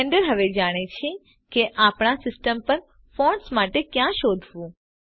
Blender હવે જાણે છે કે આપણા સિસ્ટમ પર ફોન્ટ્સ માટે ક્યાં શોધવું